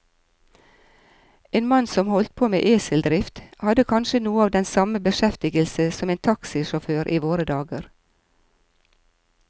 En mann som holdt på med eseldrift, hadde kanskje noe av den samme beskjeftigelse som en taxisjåfør i våre dager.